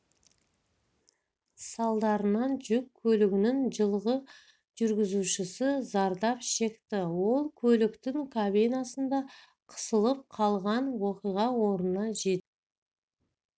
салдарынан жүк көлігінің жылғы жүргізушісі зардап шекті ол көліктің кабинасында қысылып қалған оқиға орнына жедел